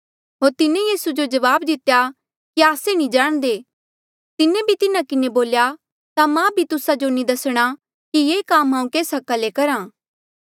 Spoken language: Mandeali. होर तिन्हें यीसू जो जवाब दितेया कि आस्से नी जाणदे तिन्हें भी तिन्हा किन्हें बोल्या ता मां भी तुस्सा जो नी दसणा कि ये काम हांऊँ केस हका ले करहा